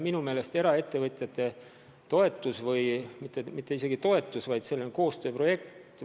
Minu meelest oleks eraettevõtjate toetus või õigemini mitte toetus, vaid selline koostööprojekt igati teretulnud.